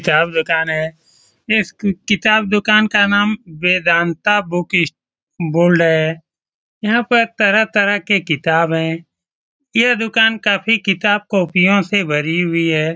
किताब की दुकान है इस कि किताब दुकान का नाम वेदांता बुकस स्ट बोल्ड है यहाँ पर तरह-तरह के किताब है यह दुकान काफी किताब कॉपियो से भरी हुई है।